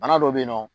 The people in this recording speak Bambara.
Bana dɔ bɛ yen nɔ